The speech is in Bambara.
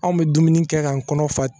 Anw bɛ dumuni kɛ k'an kɔnɔ fa